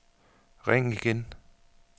ring igen